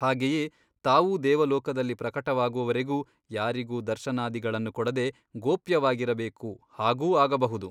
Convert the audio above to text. ಹಾಗೆಯೇ ತಾವೂ ದೇವಲೋಕದಲ್ಲಿ ಪ್ರಕಟವಾಗುವವರೆಗೂ ಯಾರಿಗೂ ದರ್ಶನಾದಿಗಳನ್ನು ಕೊಡದೆ ಗೋಪ್ಯವಾಗಿರಬೇಕು ಹಾಗೂ ಆಗಬಹುದು.